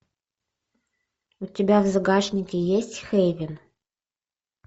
у тебя в загашнике есть хейвен